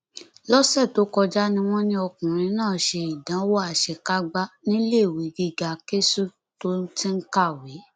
lọsẹ tó kọjá ni wọn ní ọkùnrin náà ṣe ìdánwò àṣekágbá níléèwé gíga ksu tó ti ń kàwé